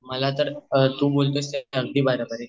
मला तर तू बोलतोयंस सगळं ते अगदी बरोबर हाये